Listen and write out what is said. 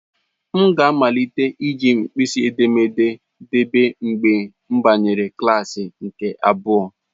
M ga amalite iji mkpịsị edémédé debe mgbe mbanyere klasị nke abụa.